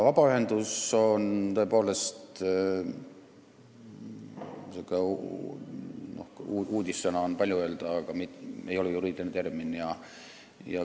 "Vabaühendus" ei ole tõepoolest – uudissõna on palju öelda – juriidiline termin.